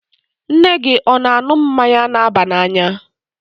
Nne gị ọ̀ na-aṅụ mmanya na-aba n'anya?